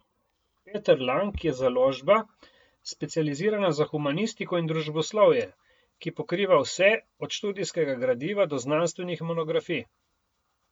Peter Lang je založba, specializirana za humanistiko in družboslovje, ki pokriva vse, od študijskega gradiva do znanstvenih monografij.